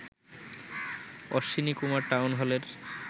Ashwini Kumar town হলের